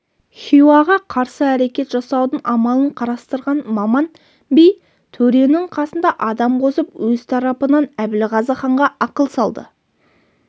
хиуаға қарсы әрекет жасаудың амалын қарастырған маман би төренің қасына адам қосып өз тарапынан әбілғазы ханға ақыл салды